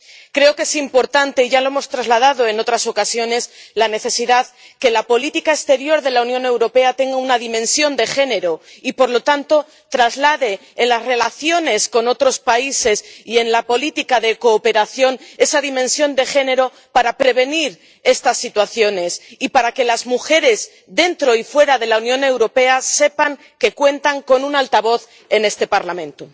Creo que es importante —ya lo hemos trasladado en otras ocasiones— la necesidad de que la política exterior de la Unión Europea tenga una dimensión de género, y, por lo tanto, traslade, en las relaciones con otros países y en la política de cooperación, esa dimensión de género para prevenir estas situaciones y para que las mujeres, dentro y fuera de la Unión Europea, sepan que cuentan con un altavoz en este Parlamento.